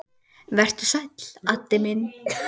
Vertu sæll, Addi minn.